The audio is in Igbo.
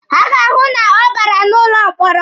Ha ga-ahụ na ọ bara n'ụlọ mkpọrọ.